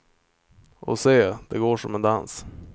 Och se, det går som en dans.